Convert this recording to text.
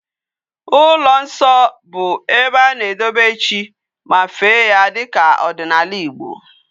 Ulo nso bu ebe ana edobe chi ma fee ya dika odinala Igbo